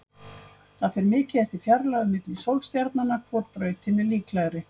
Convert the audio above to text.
Það fer mikið eftir fjarlægð milli sólstjarnanna hvor brautin er líklegri.